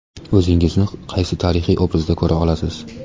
O‘zingizni qaysi tarixiy obrazda ko‘ra olasiz?